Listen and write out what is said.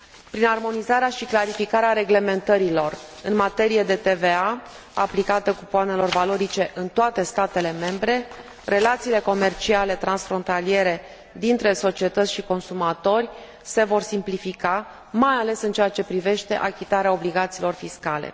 Prin armonizarea și clarificarea reglementărilor în materie de TVA, aplicată cupoanelor valorice în toate statele membre, relațiile comerciale transfrontaliere dintre societăți și consumatori se vor simplifica, mai ales în ceea ce privește achitarea obligațiilor fiscale.